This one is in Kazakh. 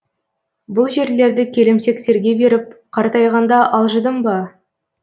бұл жерлерді келімсектерге беріп қартайғанда алжыдым ба